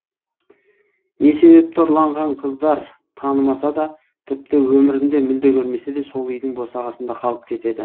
не себепті ұрланған қыздар танымаса да тіпті өмірінде мүлде көрмесе де сол үйдің босағасында қалып кетеді